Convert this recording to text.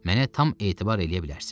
Mənə tam etibar eləyə bilərsiniz.